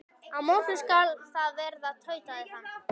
Á morgun skal það verða, tautaði hann.